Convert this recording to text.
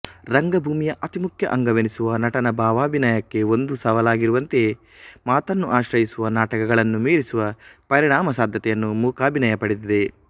ರಂಗಭೂಮಿಯ ಅತಿಮುಖ್ಯ ಅಂಗವೆನಿಸುವ ನಟನ ಭಾವಾಭಿನಯಕ್ಕೆ ಒಂದು ಸವಾಲಾಗಿರುವಂತೆಯೇ ಮಾತನ್ನು ಆಶ್ರಯಿಸುವ ನಾಟಕಗಳನ್ನೂ ಮೀರಿಸುವ ಪರಿಣಾಮ ಸಾಧ್ಯತೆಯನ್ನು ಮೂಕಾಭಿನಯ ಪಡೆದಿದೆ